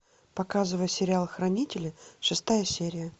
показывай сериал хранители шестая серия